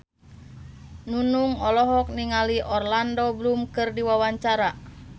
Nunung olohok ningali Orlando Bloom keur diwawancara